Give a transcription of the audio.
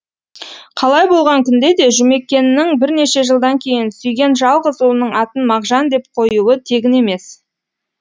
қалай болған күнде де жұмекеннің бірнеше жылдан кейін сүйген жалғыз ұлының атын мағжан деп қоюы тегін емес